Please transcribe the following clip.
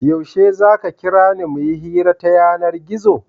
Yaushe za ka kira ni mu yi hira ta yanar-gizo?